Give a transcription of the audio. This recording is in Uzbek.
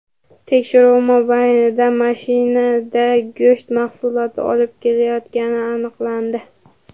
Tekshiruv mobaynida mashinada go‘sht mahsuloti olib ketilayotgani aniqlandi.